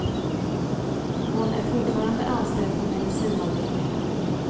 Hon är fortfarande anställd på medicinavdelningen.